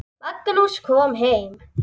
Magnús kom heim.